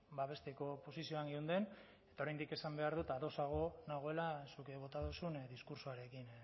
babesteko posizioan geunden eta oraindik esan behar dut ados nagoela zuk bota duzun diskurtsoarekin